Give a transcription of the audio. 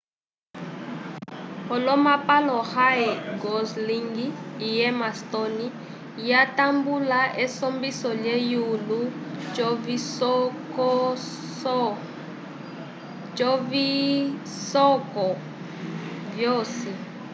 olomapalo ryan gosling e emma stone yatambula esumbiso lhe yulo covisocoso vyosi